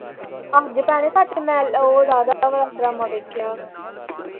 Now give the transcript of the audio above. ਅੱਜ ਭੈਣੇ ਸੱਚ ਮੈਂ ਉਹ ਰਾਧਾ ਵਾਲਾ ਡਰਾਮਾ ਵੇਖਿਆ।